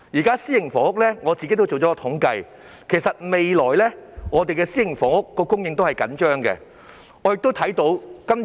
就私營房屋而言，我已作統計，發現未來的私營房屋供應仍然緊張。